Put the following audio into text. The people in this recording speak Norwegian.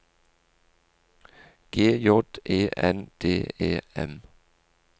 G J E N D E M